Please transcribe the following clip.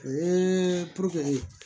O ye